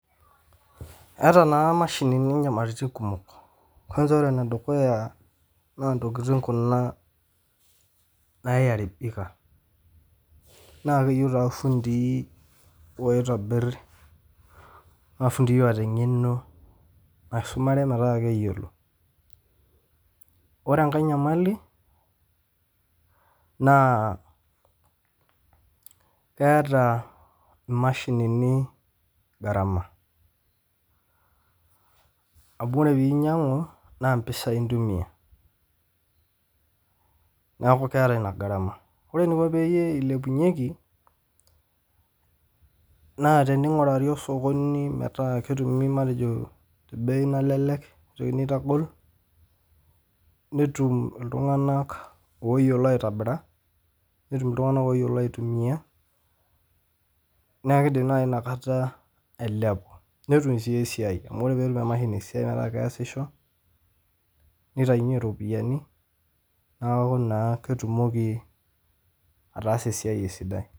Eeta naa imashinini nyamalaritin kumok, kwansa ore ne dukuya naa ntokitin kunaa niyaribika, naa keyeu taa lfundii oitabirr naa lfundii oota engeno naisumare metaa keyiolo, orr enkae inyamali naa keata imashinini gharama amu ore piinyang'u naa mpisai intumiya, naaku keeta ina gharama, ore eninko peyie eilepunyeki naa teneingurari osokoni metaa eketumi matejo te bei nalelek neitu entagol, netum ltunganak oyiolo aitobira netum ltunganak oyiolo aitumiya naa keidim naii inakata eilepu netum sii esiai, amu ore peetum emashini esiai metaa keasisho, neitainye iropiyiani naaku naa ketumoki ataasa esiaai sidai.